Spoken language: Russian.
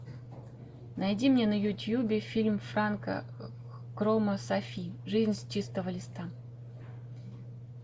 найди мне на ютубе фильм франка крома софи жизнь с чистого листа